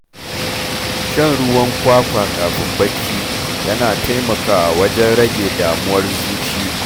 Shan ruwan kwakwa kafin barci, yana taimakawa wajen rage damuwar zuci.